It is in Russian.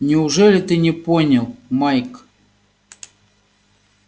неужели ты не понял майк